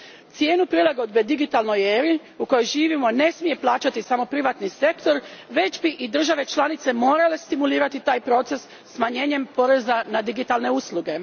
Cijenu prilagodbe digitalnoj eri u kojoj živimo, ne smije plaćati samo privatni sektor već bi i države članice morale stimulirati taj proces smanjenjem poreza na digitalne usluge.